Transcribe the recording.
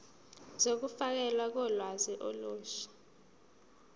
zokufakelwa kolwazi olusha